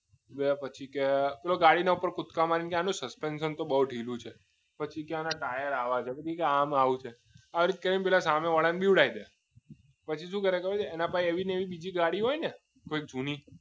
યા પછી કે પેલો ગાડી ની ઉપર કૂદકા મારીને કે આનો સસ્પેન્શન તો બહુ ઢીલું છે પછી કે આના ટાયર આવા ચેક પછી કે આમ આવું છે એમ કરીને સામેવાળાને બીવડાવી દે પછી શું કરે એના પર એવી નવી બીજી ગાડી હોય ને જૂની